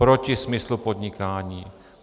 Proti smyslu podnikání.